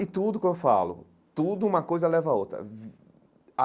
E tudo o que eu falo, tudo uma coisa leva a outra.